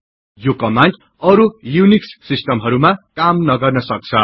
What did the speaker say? यो कमान्ड अरु युनिक्स सिस्टमहरुमा काम नगर्न सक्छ